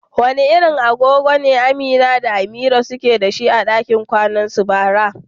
Wani irin agogo ne Amina da Amira suke dashi a dakin kwanansu bara?